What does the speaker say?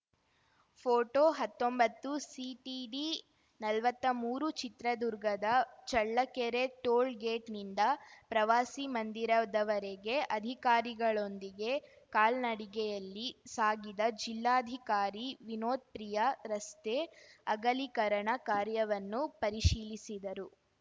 photo ಹತ್ತೊಂಬತ್ತುಸಿಟಿಡಿನಲ್ವತ್ತಾ ಮೂರುಚಿತ್ರದುರ್ಗದ ಚಳ್ಳಕೆರೆ ಟೋಲ್‌ಗೇಟ್‌ನಿಂದ ಪ್ರವಾಸಿ ಮಂದಿರದವರೆಗೆ ಅಧಿಕಾರಿಗಳೊಂದಿಗೆ ಕಾಲ್ನಡಿಗೆಯಲ್ಲಿ ಸಾಗಿದ ಜಿಲ್ಲಾಧಿಕಾರಿ ವಿನೋದ್ ಪ್ರಿಯ ರಸ್ತೆ ಅಗಲಿಕರಣ ಕಾರ್ಯವನ್ನು ಪರಿಶೀಲಿಸಿದರು